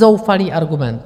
Zoufalý argument!